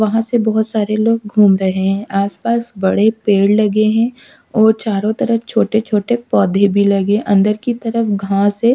वहां से बहुत सारे लोग घूम रहे हैं आस पास बड़े पेड़ लगे हैं और चारों तरफ छोटे छोटे पौधे भी लगे अंदर की तरफ घास है।